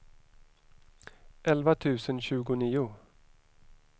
elva tusen tjugonio